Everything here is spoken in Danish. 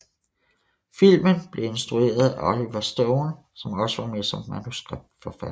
Filmen blev instrueret af Oliver Stone som også var med som manuskriptforfatter